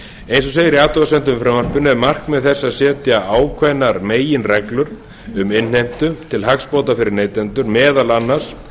eins og segir í athugasemdum með frumvarpinu eru markmið þess að setja ákveðnar meginreglur um innheimtu til hagsbóta fyrir neytendur meðal annars ákvæði